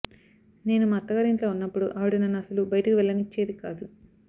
నేను మా అత్తగారింట్లో ఉన్నపుడు ఆవిడ నన్ను అస్సలు బయటకి వెళ్లనిచ్చేది కాదు